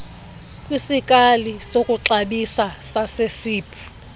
kwisikali sokuxabisa sasesib